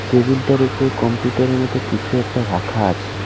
টেবিলটার উপরে কম্পিউটার এর মতো কিছু একটা রাখা আছে।